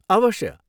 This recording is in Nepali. अवश्य!